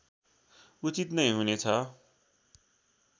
उचित नै हुनेछ